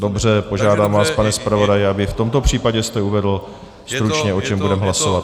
Dobře, požádám vás, pane zpravodaji, aby v tomto případě jste uvedl stručně, o čem budeme hlasovat.